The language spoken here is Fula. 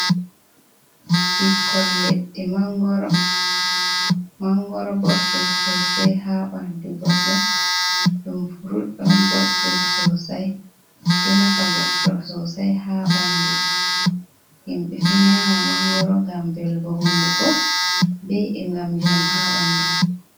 "Ɓikkoi ledde mangoro" boddum sosai ha ɓandu goɗdo ɗum furut on boddum sosai ɗo nafa goddo sosai ha ɓandu himbe do nyama mangoro ngam velugo hunduko be e ngam jamu ha ɓandu.